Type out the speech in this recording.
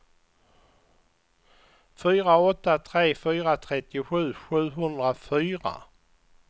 fyra åtta tre fyra trettiosju sjuhundrafyra